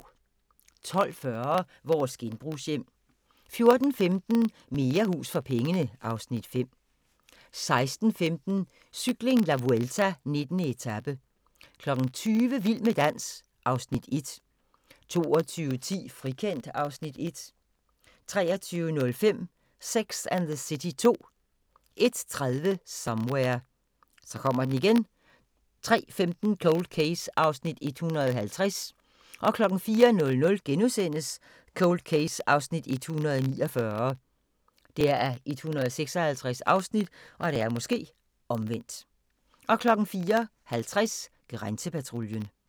12:40: Vores genbrugshjem 14:15: Mere hus for pengene (Afs. 5) 16:15: Cykling: La Vuelta - 19. etape 20:00: Vild med dans (Afs. 1) 22:10: Frikendt (Afs. 1) 23:05: Sex and the City 2 01:30: Somewhere 03:15: Cold Case (150:156) 04:00: Cold Case (149:156)* 04:50: Grænsepatruljen